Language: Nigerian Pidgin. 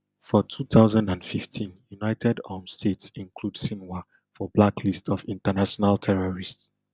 for two thousand and fifteen united um states include sinwar for blacklist of international terrorists